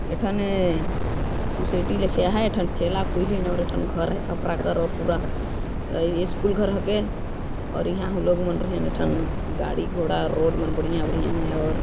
ए ठने सोसाईंटी लिखया है ए ठने ठेला खोलिन अउर ए ठन घर है खपरा खोरे पूरा स्कूल घर के और यहाँ लोग मन रहेन ए ठन गाड़ी घोड़ा रोड बढ़िया बढ़िया है और--